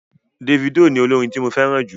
Dèfídò ni olórin tí mo fẹ́ràn jù.